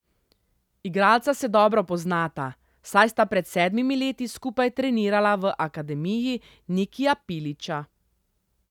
Igralca se dobro poznata, saj sta pred sedmimi leti skupaj trenirala v akademiji Nikija Pilića.